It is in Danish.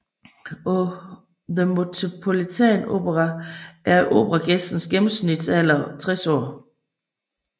På The Metropolitan Opera er operagæstens gennemsnitsalder 60 år